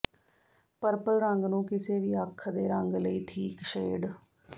purple ਰੰਗ ਨੂੰ ਕਿਸੇ ਵੀ ਅੱਖ ਦੇ ਰੰਗ ਲਈ ਠੀਕ ਸ਼ੇਡ